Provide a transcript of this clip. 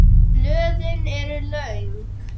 Blöðin eru löng.